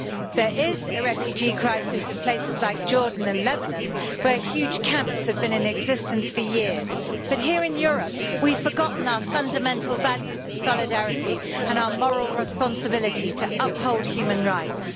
There is a refugee crisis in places like Jordan and Lebanon, where huge camps have been in existence for years, but here in Europe we've forgotten our fundamental values of solidarity and our moral responsibility to uphold human rights.